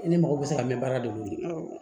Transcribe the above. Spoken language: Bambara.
I ni mɔgɔ bɛ se ka mɛn baara de bolo